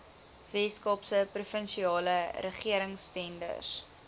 weskaapse provinsiale regeringstenders